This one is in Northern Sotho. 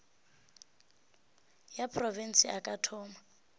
ya profense a ka thoma